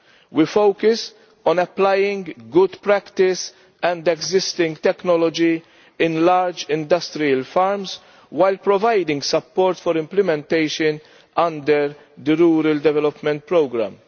We focus on applying good practice and existing technology in large industrial farms, while providing support for implementation under the rural development programme.